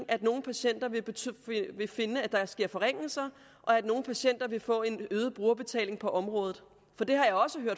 at nogle patienter vil finde at der sker forringelser og at nogle patienter vil for en øget brugerbetaling på området